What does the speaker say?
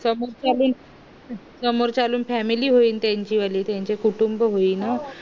समोर ची समोर ची वाली फॅमिली होईल त्याची वाली त्याच कुटुंब होईल म